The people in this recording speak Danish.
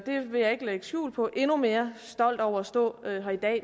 vil ikke lægge skjul på endnu mere stolt over at stå